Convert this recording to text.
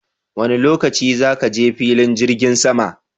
Wanne lokaci za ki je filin jirgin sama